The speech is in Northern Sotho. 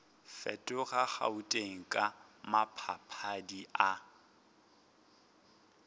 fetoga gauteng ka maphadiphadi a